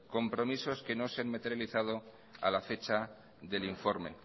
compromisos que no se han materializado a la fecha del informe